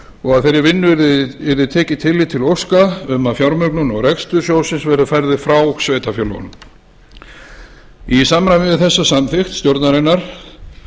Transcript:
og með þeirri vinnu yrði tekið tillit til óska um að fjármögnun og rekstur sjóðsins verði færður frá sveitarfélögunum í samræmi við þessa samþykkt stjórnarinnar